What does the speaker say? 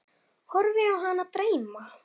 Horfi á hana dreyma.